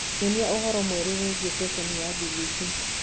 nyonĩaũhoro mwerũ wiĩgie sesheni ya B.B.C